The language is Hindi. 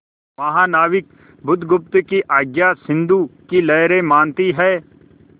महानाविक बुधगुप्त की आज्ञा सिंधु की लहरें मानती हैं